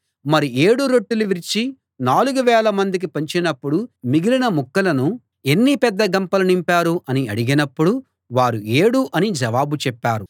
మరి ఏడు రొట్టెలు విరిచి నాలుగు వేల మందికి పంచినప్పుడు మిగిలిన ముక్కలను ఎన్ని పెద్ద గంపలు నింపారు అని అడిగినప్పుడు వారు ఏడు అని జవాబు చెప్పారు